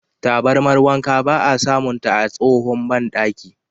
Tabarmar wanka ba a samunta a tsahon bandaki.